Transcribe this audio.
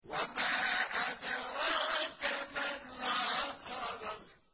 وَمَا أَدْرَاكَ مَا الْعَقَبَةُ